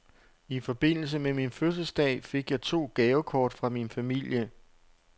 I forbindelse med min fødselsdag fik jeg to gavekort fra min familie.